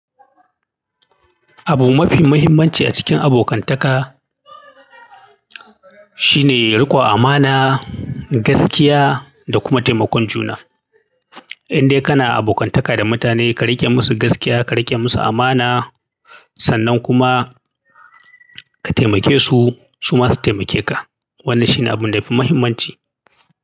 Abu mafi muhimmanci a cikin abokantaka shine riƙon amana, gaskiya da kuma taimakon juna. Indai kana abokantaka da mutane ka riƙe musu gaskiya, ka riƙe musu amana, sannan kuma ka taimake su, su ma su taimake ka. Wannan shi ne abu da ya fi muhimmanci.